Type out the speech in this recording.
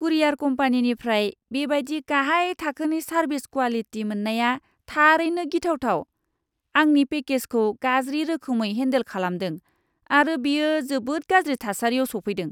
कुरियार कम्पानिनिफ्राय बेबादि गाहाय थाखोनि सारभिस क्वालिटि मोननाया थारैनो गिथावथाव। आंनि पेकेजखौ गाज्रि रोखोमै हेनदेल खालामदों आरो बेयो जोबोद गाज्रि थासारिआव सौफैदों।